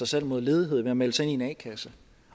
sig mod ledighed ved at melde sig ind i en a kasse